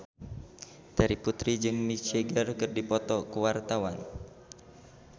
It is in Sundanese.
Terry Putri jeung Mick Jagger keur dipoto ku wartawan